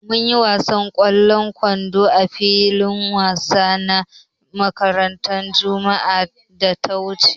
Mun yi gasar wasan ƙwallon kwando a filin wansan na makarantar juma'ar da ta wuce.